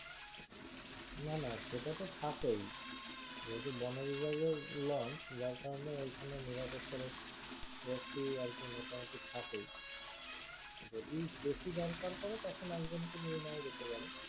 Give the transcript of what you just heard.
না না সেটা তো থাকেই যেহুতু বনবিভাগের launch যার কারণে ওইখানে নিরাপত্তারক্ষী রক্ষী আর কি মোটামোটি থাকেই যদি বেশি দরকার পরে তখন একজনকে নিয়ে নেওয়া যেতে পারে